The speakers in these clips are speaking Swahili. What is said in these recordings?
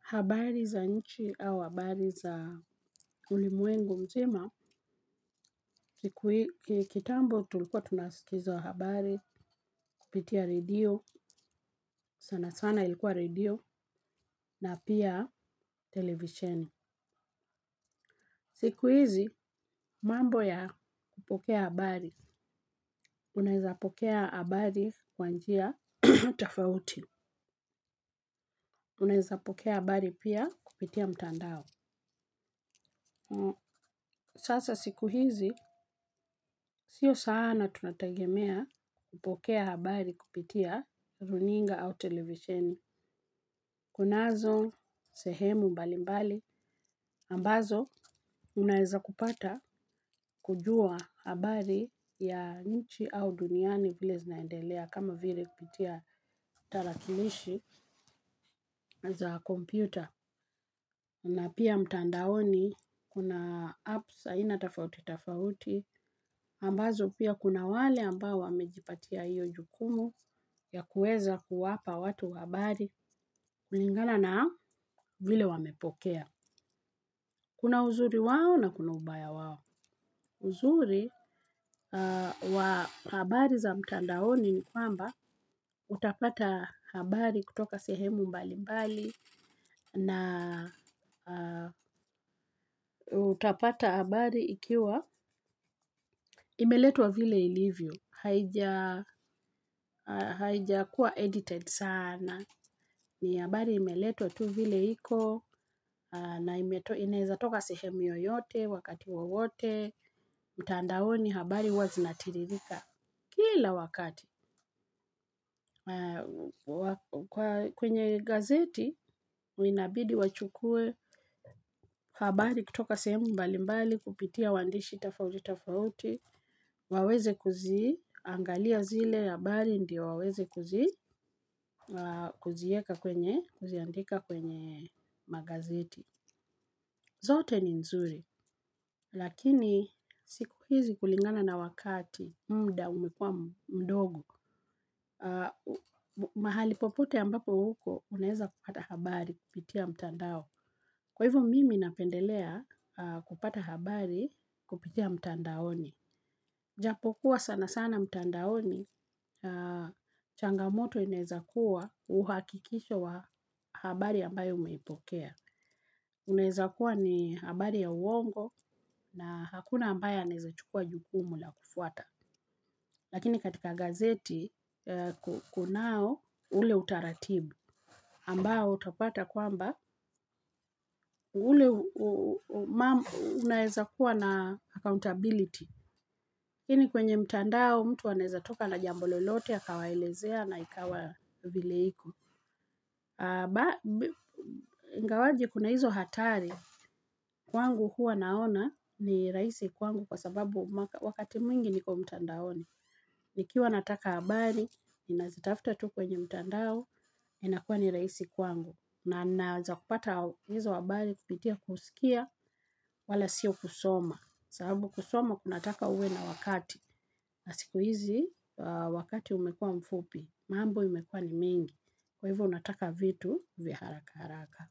Habari za nchi au habari za ulimwengu mzima, kitambo tulikuwa tunasikiza habari, kupitia redio, sana sana ilikuwa redio, na pia televisheni. Siku hizi, mambo ya kupokea habari. Unaezapokea habari kwa njia tofauti. Unaiza pokea habari pia kupitia mtandao. Sasa siku hizi, sio sana tunategemea kupokea habari kupitia runinga au televisheni, kunazo sehemu mbali mbali, ambazo unaeza kupata kujua habari ya nchi au duniani vile zinaendelea kama vile kupitia tarakilishi za kompyuta. Na pia mtandaoni, kuna apps aina tafauti tafauti, ambazo pia kuna wale ambao wamejipatia hiyo jukumu ya kuweza kuwapa watu habari, kulingala na vile wamepokea. Kuna uzuri wao na kuna ubaya wao. Uzuri wa habari za mtandaoni ni kwamba utapata habari kutoka sehemu mbali mbali na utapata habari ikiwa imeletwa vile ilivyo. Haijakuwa edited sana. Ni habari imeletwa tu vile iko na inaeza toka sehemu yoyote, wakati wowote, mtandaoni habari huwa zinatiririka. Kila wakati, kwenye gazeti, huwa inabidi wachukue habari kutoka sehemu mbali mbali kupitia waandishi tafauti tafauti, waweze kuziangalia zile habari ndio waweze kuzi, kuzieka kwenye, kuziandika kwenye magazeti. Zote ni nzuri, lakini siku hizi kulingana na wakati, muda umekua mdogo. Mahali popote ambapo uko unaeza kupata habari kupitia mtandao. Kwa hivo mimi napendelea kupata habari kupitia mtandaoni. Japo kuwa sana sana mtandaoni changamoto unaeza kuwa uhakikisho wa habari ambayo umeipokea. Uneza kuwa ni habari ya uongo na hakuna ambayo anaezachukua jukumu la kufuata. Lakini katika gazeti kunao ule utaratibu ambao utapata kwamba ule unaeza kuwa na accountability. Lakini kwenye mtandao mtu anaeza toka na jambo lolote akawaelezea na ikawa vile iko. Ingawaje kuna hizo hatari, kwangu huwa naona ni rahisi kwangu kwa sababu wakati mwingi niko mtandaoni. Ikiwa nataka habari, ninazitafuta tu kwenye mtandao, inakuwa ni rahisi kwangu. Na naeza kupata hizo habari kupitia kusikia wala siyo kusoma. Sababu kusoma kunataka uwe na wakati. Na siku hizi, wakati umekuwa mfupi, mambo imekuwa ni mengi. Kwa hivo, nataka vitu vya haraka haraka.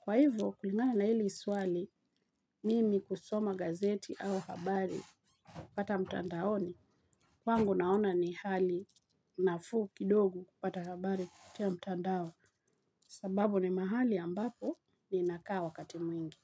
Kwa hivo, kulingana na hili swali, mimi husoma gazeti au habari nikipata mtandaoni. Kwangu naona ni hali nafuu kidogo kupata kabari kupitia mtandao sababu ni mahali ambapo ninakaa wakati mwingi.